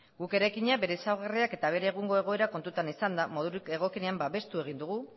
guk eraikina bere ezaugarriak eta bere egungo egoera kontutan izanda modurik egokienean babestu egin dugu